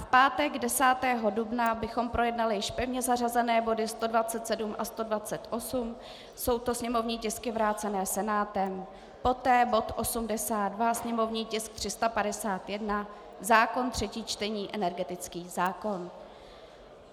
V pátek 10. dubna bychom projednali již pevně zařazené body 127 a 128, jsou to sněmovní tisky vrácené Senátem, poté bod 82, sněmovní tisk 351, zákon třetí čtení, energetický zákon.